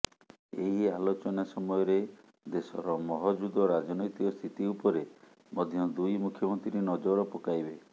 ଏହି ଆଲୋଚନା ସମୟରେ ଦେଶର ମହଜୁଦ ରାଜନୈତିକ ସ୍ଥିତି ଉପରେ ମଧ୍ୟ ଦୁଇ ମୁଖ୍ୟମନ୍ତ୍ରୀ ନଜର ପକାଇବେ